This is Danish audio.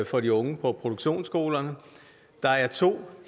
for de unge på produktionsskolerne der er to